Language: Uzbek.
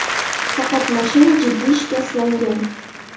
Faqat mashina jiddiy shikastlangan.